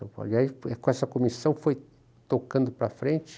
E aí, com essa comissão, foi tocando para frente.